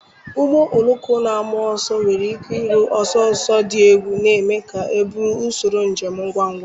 Ụgbọ oloko na-agba ọsọ nwere ike iru ọsọ ọsọ dị egwu, na-eme ka ha bụrụ usoro njem ngwa ngwa.